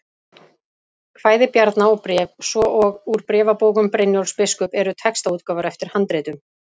Kvæði Bjarna og Bréf, svo og Úr bréfabókum Brynjólfs biskups eru textaútgáfur eftir handritum.